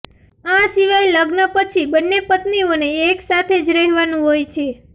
આ સિવાય લગ્ન પછી બંને પત્નીઓને એકસાથે જ રહેવાનું હોય છે